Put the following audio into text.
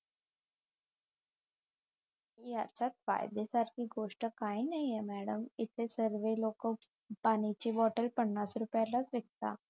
याच्यात फायदा सारखी गोष्ठ काही नाहीये मॅडम इथे सर्व लोकं पाण्याची बॉटल पन्नास रुपयालाच विकतात